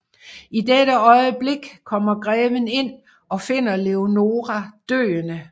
I dette øjeblik kommer greven ind og finder Leonora døende